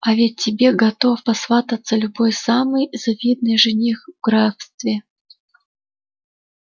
а ведь тебе готов посвататься любой самый видный жених в графстве